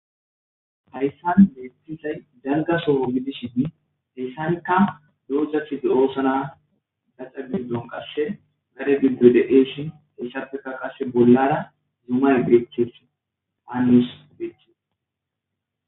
Haysan betizays dalga soho gidishn heysanka dozat de'osona, etavgidom qase gade pildoy de'es, heysappeka qasi bolara dumma dumma dereti detes